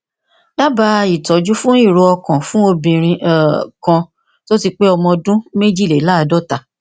dabaa ìtọjú fún ìró ọkànfún obìnrin um kan tó ti pé ọmọ ọdún méjìléláàádọta